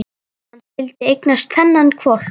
Hann skyldi eignast þennan hvolp!